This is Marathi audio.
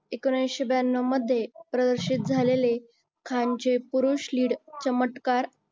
एकोणविशे ब्यान्नव मध्ये प्रदर्शित झालेले खानचे पुरुष lead चमत्कार